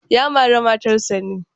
Ya mari matarsa ne?